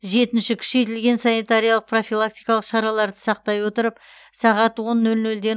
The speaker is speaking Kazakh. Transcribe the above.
жетінші күшейтілген санитариялық профилактикалық шараларды сақтай отырып сағат он нөл нөлден